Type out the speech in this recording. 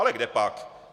Ale kdepak.